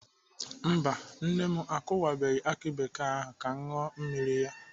Mba nne m akụwabeghị akụ bekee ahụ ka m ṅụọ mmiri ya.